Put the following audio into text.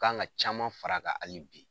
K' kan ka caman fara ka ale bi.